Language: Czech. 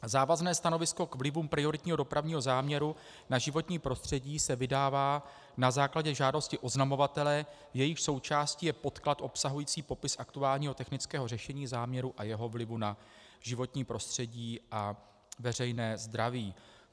Závazné stanovisko k vlivům prioritního dopravního záměru na životní prostředí se vydává na základě žádosti oznamovatele, jejíž součástí je podklad obsahující popis aktuálního technického řešení záměru a jeho vlivu na životní prostředí a veřejné zdraví.